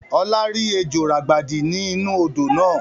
Ọlá rí ejò ràgbàdi ni inu odò náà